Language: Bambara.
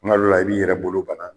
N' g'al'o la i b'i yɛrɛ bolo bana